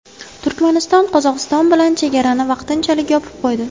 Turkmaniston Qozog‘iston bilan chegarani vaqtinchalik yopib qo‘ydi.